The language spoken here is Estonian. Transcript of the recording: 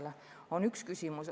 See on üks küsimus.